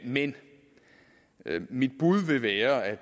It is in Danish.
men mit bud vil være at